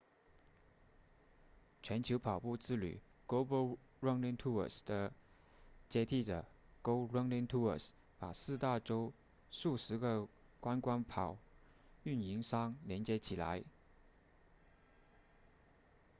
全球跑步之旅 global running tours 的接替者 go running tours 把四大洲数十个观光跑运营商连接起来